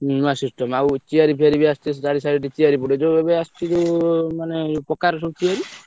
ହୁଁ ନୂଆ system ଆଉ chair fair ବି ଆସିଛି ସବୁ chair ପଡିବ ଯୋଉ ଏବେ ଆସୁଛି ଯୋଉ ମାନେ ପକାର ସବୁ ତିଆରି